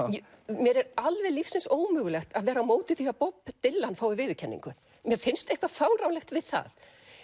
mér er alveg lífsins ómögulegt að vera á móti því að Bob Dylan fái viðurkenningu mér finnst eitthvað fáránlegt við það